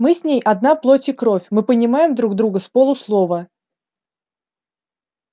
мы с ней одна плоть и кровь мы понимаем друг друга с полуслова